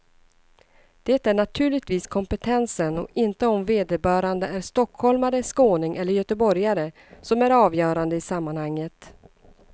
Det är naturligtvis kompetensen och inte om vederbörande är stockholmare, skåning eller göteborgare som är avgörande i sammanhanget.